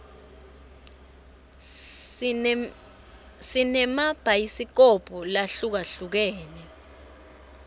sinema bhayisikobhu lahlukahlukene